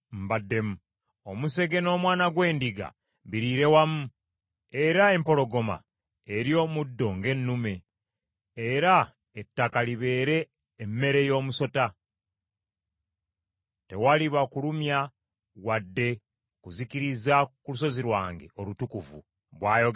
Omusege n’omwana gw’endiga biriire wamu, era empologoma erye omuddo ng’ennume, era ettaka libeere emmere y’omusota. Tewaliba kulumya wadde kuzikiriza ku lusozi lwange olutukuvu,” bw’ayogera Mukama Katonda.